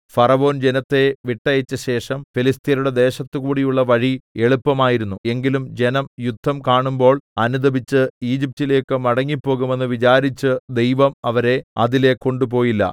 ഫറവോൻ ജനത്തെ വിട്ടയച്ച ശേഷം ഫെലിസ്ത്യരുടെ ദേശത്ത് കൂടിയുള്ള വഴി എളുപ്പമായിരുന്നു എങ്കിലും ജനം യുദ്ധം കാണുമ്പോൾ അനുതപിച്ച് ഈജിപ്റ്റിലേയ്ക്ക് മടങ്ങിപ്പോകുമെന്ന് വിചാരിച്ച് ദൈവം അവരെ അതിലെ കൊണ്ടുപോയില്ല